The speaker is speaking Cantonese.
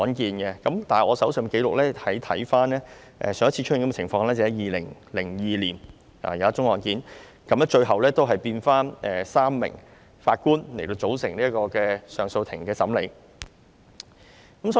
但是，我翻看手上的資料，上一次出現這個情況是2002年一宗案件，最後要回復由3名法官來組成上訴法庭審理這宗案件。